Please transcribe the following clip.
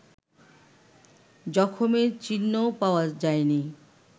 জখমের চিহ্নও পাওয়া যায়নি